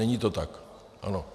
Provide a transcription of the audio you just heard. Není to tak, ano.